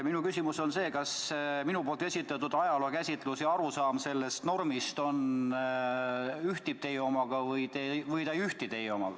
Mu küsimus on aga selline: kas minu esitatud ajalookäsitlus ja arusaam sellest normist ühtivad teie omaga või ei?